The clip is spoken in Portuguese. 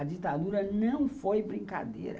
A ditadura não foi brincadeira.